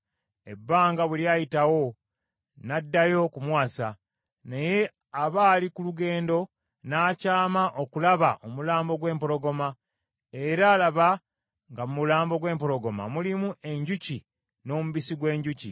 Ebbanga bwe lyayitawo, n’addayo okumuwasa, naye aba ali ku lugendo, n’akyama okulaba omulambo gw’empologoma, era laba, nga mu mulambo gw’empologoma mulimu enjuki n’omubisi gw’enjuki.